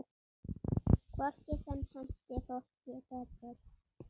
Hvort sem henti fólki betur.